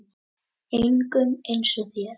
Engum eins og þér.